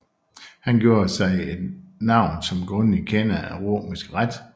Han gjorde sig et navn som grundig kender af romersk ret